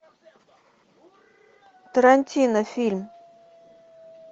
тарантино фильм